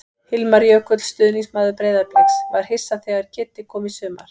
Hilmar Jökull, stuðningsmaður Breiðabliks: Var hissa þegar Kiddi kom í sumar.